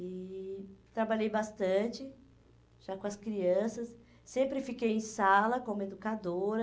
E trabalhei bastante, já com as crianças, sempre fiquei em sala como educadora,